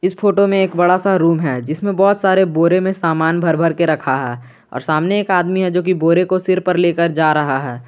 इस फोटो में एक बड़ा सा रूम है जिसमें बहुत सारे बोरे में समान भर भर के रखा है और सामने एक आदमी है जो कि बोरे को सिर पर लेकर जा रहा है।